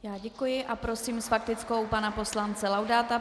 Já děkuji a prosím s faktickou pana poslance Laudáta.